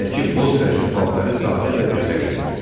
Əynindəki boz rəngli paltarı sadə və gözəl idi.